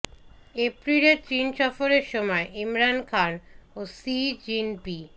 এপ্রিলে চীন সফরের সময় ইমরান খান ও শি জিন পি